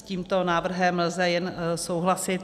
S tímto návrhem lze jen souhlasit.